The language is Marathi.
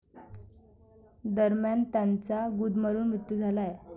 दरम्यान, त्यांचा गुदमरून मृत्यू झाला आहे.